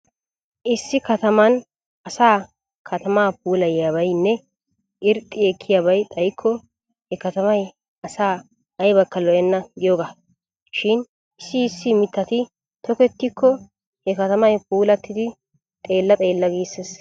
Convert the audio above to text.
Issi kataman asaa katamaa puulayiyabaynne irxxi ekkiyabay xayikko he katamay asaa aybakka lo'enna giyogaa. Shin issi issi mittati tokettikko he katamay puulattidi xeella xeella giissees.